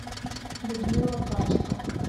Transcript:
людмила качка